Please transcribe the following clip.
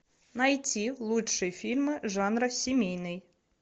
найти лучшие фильмы жанра семейный